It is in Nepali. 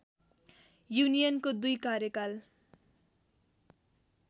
युनियनको दुई कार्यकाल